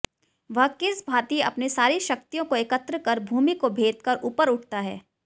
वह किस भांति अपनी सारी शक्तियों को एकत्र कर भूमि को भेदकर ऊपर उठता है